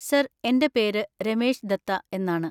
Sir, എന്‍റെ പേര് രമേശ് ദത്ത എന്നാണ്.